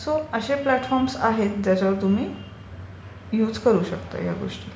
So असे platform आहेत ज्याच्यावर तुम्ही युज करू शकता या गोष्टी.